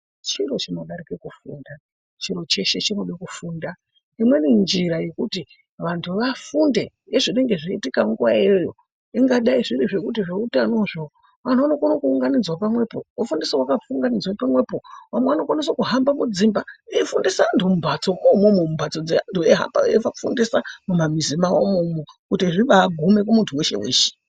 Chiro chinodarike kufunda chiro cheshe chinode kufunda. Imweni njira yekuti vantu vafunde ngezvinenge zveiitika nguvayo iyoyo ingadai zviri zvekuti zveutanozvo vantu vanokona kuunganidzwa pamwepo vofundiswa vakaunganidzwa pamwepo vamwe vanokona kuhamba mudzimba veifundisa vantu mumbatsomo umomo mumbatso dzevantu veihamba veifundisa mumamizi mwawomwo umo kuti zvibaagume kumuntu weshe weshe.